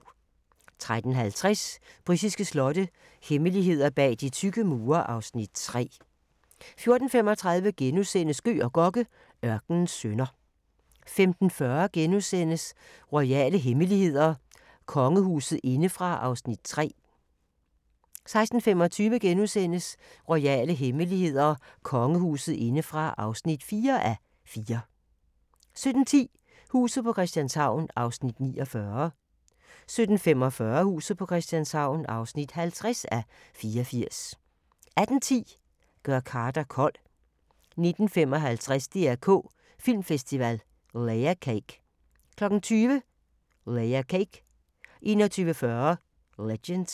13:50: Britiske slotte – hemmeligheder bag de tykke mure (Afs. 3) 14:35: Gøg og Gokke: Ørkenens sønner * 15:40: Royale hemmeligheder: Kongehuset indefra (3:4)* 16:25: Royale hemmeligheder: Kongehuset indefra (4:4)* 17:10: Huset på Christianshavn (49:84) 17:45: Huset på Christianshavn (50:84) 18:10: Gør Carter kold 19:55: DR K Filmfestival – Layer Cake 20:00: Layer Cake 21:40: Legend